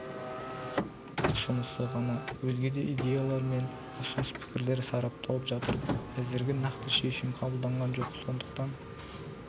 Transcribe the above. ұсынысы ғана өзге де идеялар мен ұсыныс-пікірлер сарапталып жатыр әзірге нақты шешім қабылданған жоқ сондықтан